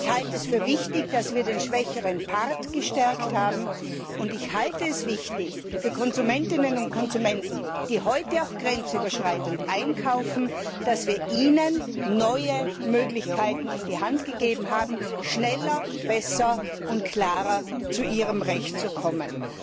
Ich halte es für wichtig, dass wir den schwächeren Part gestärkt haben, und ich halte es für wichtig, dass wir Konsumentinnen und Konsumenten, die heute auch grenzüberschreitend einkaufen, neue Möglichkeiten an die Hand gegeben zu haben, schneller, besser und klarer zur ihrem Recht zu kommen.